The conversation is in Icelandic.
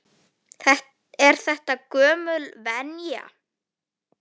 Er þetta gömul venja?